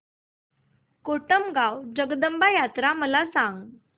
कोटमगाव जगदंबा यात्रा मला सांग